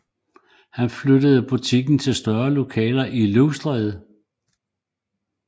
Han flyttede butikken til større lokaler i Løvstræde